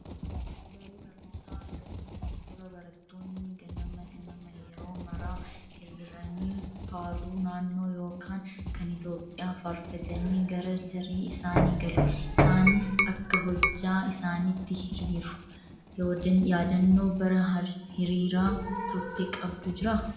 Daree barnootaa galuun dura barattoonni ganama ganama yeroo maraa hiriiranii faaruu naannoo yookaan kan Itoophiyaa faarfatanii gara daree isaanii galu. Isaanis akka hojjaa isaaniitti hiriiru. Yaadannoon bara hirriiraa turte qabdu jiraa?